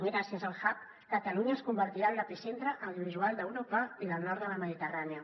gràcies al hub catalunya es convertirà en l’epicentre audiovisual d’europa i del nord de la mediterrània